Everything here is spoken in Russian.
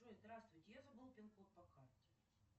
джой здравствуйте я забыл пин код по карте